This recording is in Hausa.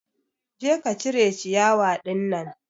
Je ka cire ciyawa ɗinnan